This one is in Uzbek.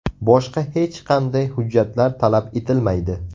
Boshqa hech qanday hujjatlar talab etilmaydi.